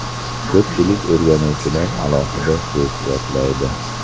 Ko‘pchilik o‘rganuvchilar alohida so‘z yodlaydi.